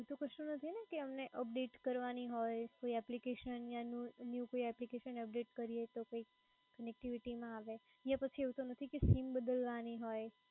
એટ્લે એવુ તો કશુ નથી ને કે એમને update કરવાં ની હોય કોય application યા new કોઈ update કરીએ તો connctivity ના આવે કે પછી એવું તો નથી ને કે theme બદલવા ની હોય કે પછી એવું નથી કે sim બદલવાની હોય?